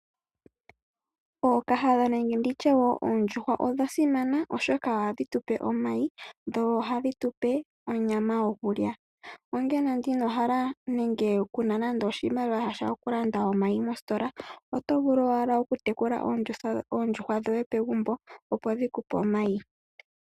Ookahadha nenge oondjuhwa odha simana, oshoka ohadhi tu pe omayi dho ohadhi tu pe onyama yokulya. Uuna inoo hala nenge ku na oshimaliwa shokulanda omayi mositola oto vulu owala okutekula oondjuhwa dhoye pegumbo, opo dhi ku pe omayi.